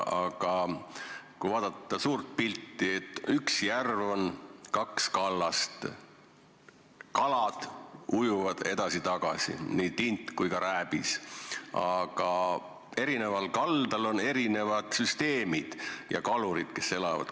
Aga kui vaadata suurt pilti, siis on üks järv, kaks kallast, kalad ujuvad edasi-tagasi, nii tint kui ka rääbis, kuid eri kallastel on erinevad süsteemid ja kalurid, kes seal elavad.